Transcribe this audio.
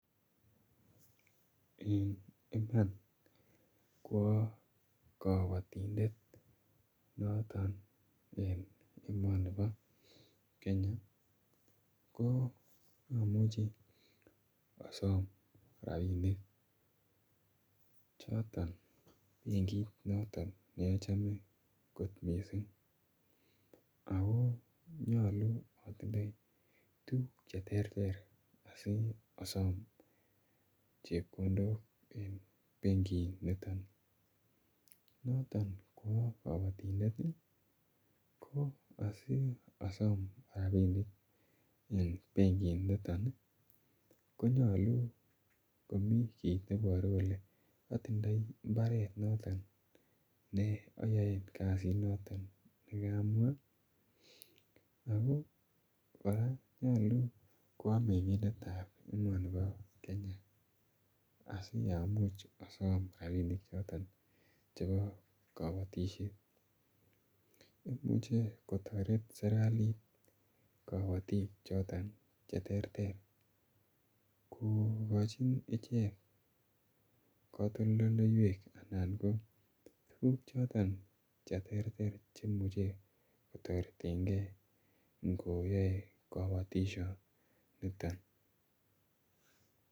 Eng' Iman ko aa kabotindet noton eng' emoni bo Kenya ko amuchi asom rapinik choto benkit noton neachame kot mising ako nyolu atindoi tukuk cheterter asi asom chepkondok en benkiniton noto ko aa kabotindet ko asiasom rapinik eng' benkiniton konyolu komi kiit neiboru kole atindoi mbaret noton ne ayoen kasit noton nikamwa ako kora konyolu ko aa meng'indetab emoni bo Kenya asiamuch asom rapinichoton chebo kabotishet imuche kotoret serikalit kabotik choton cheterter kokochin ichek katoldoleiwek anan ko tuguk choto cheterter cheimuchei kotoretengei ngoyoe kabotishet niton